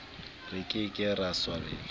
re ke ke ra swabela